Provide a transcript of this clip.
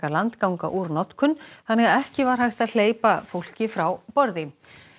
landganga úr notkun þannig að ekki var hægt að hleypa fólki frá borði